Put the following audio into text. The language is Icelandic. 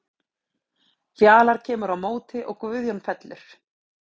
Fjalar kemur út á móti og Guðjón fellur.